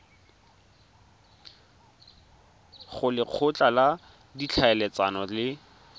go lekgotla la ditlhaeletsano le